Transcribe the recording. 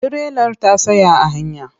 Tirelar ta tsaya a hanya.